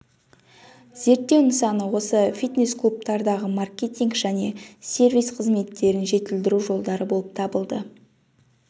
зерттеу нысаны осы фитнес-клубтардағы маркетинг және сервис қызметтерін жетілдіру жолдары болып табылды